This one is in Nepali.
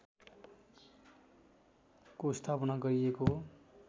को स्थापना गरिएको